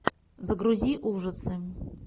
загрузи ужасы